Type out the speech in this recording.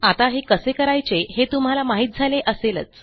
आता हे कसे करायचे हे तुम्हाला माहित झाले असेलच